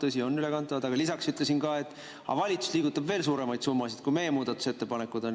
Tõsi, on ülekantavad, aga lisaks ütlesin mina, et valitsus liigutab veel suuremaid summasid, kui meie muudatusettepanekud on.